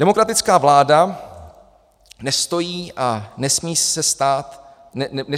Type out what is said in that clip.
Demokratická vláda nestojí a nesmí stát nad právem.